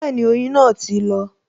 Bẹẹni, oyin náà ti lọ